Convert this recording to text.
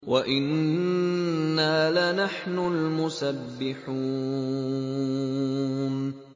وَإِنَّا لَنَحْنُ الْمُسَبِّحُونَ